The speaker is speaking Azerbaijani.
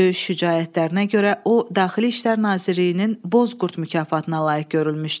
Döyüş şücaətlərinə görə o Daxili İşlər Nazirliyinin Bozqurd mükafatına layiq görülmüşdü.